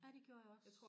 Ja det gjorde jeg også